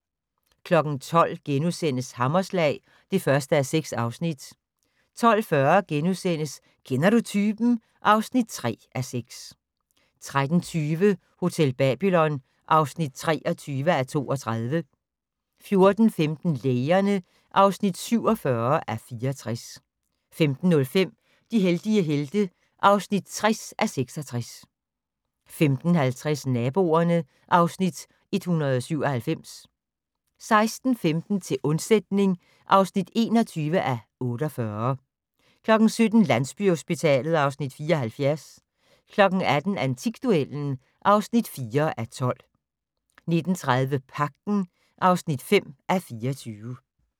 12:00: Hammerslag (1:6)* 12:40: Kender du typen? (3:6)* 13:20: Hotel Babylon (23:32) 14:15: Lægerne (47:64) 15:05: De heldige helte (60:66) 15:50: Naboerne (Afs. 197) 16:15: Til undsætning (21:48) 17:00: Landsbyhospitalet (Afs. 74) 18:00: Antikduellen (4:12) 19:30: Pagten (5:24)